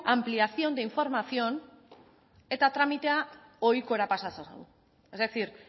ampliación e información eta tramitea ohikora pasa ezazu es decir